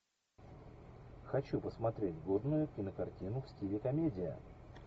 хочу посмотреть годную кинокартину в стиле комедия